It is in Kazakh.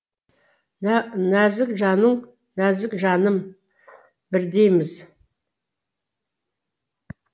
нәзік жаның нәзік жаным бірдейміз